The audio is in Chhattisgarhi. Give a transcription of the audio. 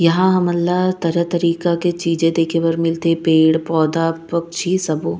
यहाँ हमन ल तरह-तरह के चीज देखे बर मिल थे पेड़-पौधा पक्षी सबो--